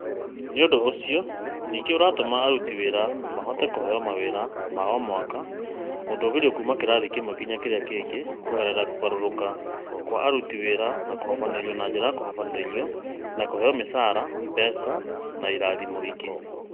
Ũndũ ũcio ningĩ nĩ ũratũma aruti wĩra mahote kũheo mawĩra ma o mwaka na gũtũũgĩrĩrio kuuma kĩrathi kĩmwe nginya kĩrĩa kĩngĩ kũgerera kũgarũrũka kwa aruti wĩra na kũhobanĩrio na njĩra ya kũhobanĩrio na kũheo mĩcaara, mbeca, na irathimo ingĩ.